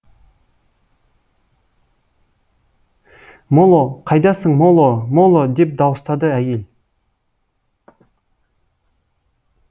моло қайдасың моло моло деп дауыстады әйел